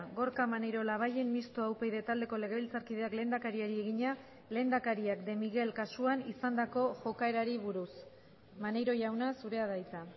gorka maneiro labayen mistoa upyd taldeko legebiltzarkideak lehendakariari egina lehendakariak de miguel kasuan izandako jokaerari buruz maneiro jauna zurea da hitza